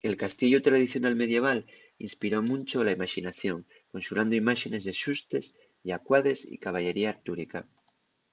el castiellu tradicional medieval inspiró muncho la imaxinación conxurando imáxenes de xustes llacuades y caballería artúrica